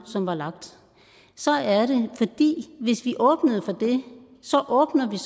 som var lagt så er det fordi hvis vi åbnede for det så åbnede